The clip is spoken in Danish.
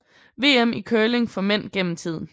VM i curling for mænd gennem tiden